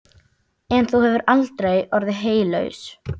En þú hefur aldrei orðið heylaus.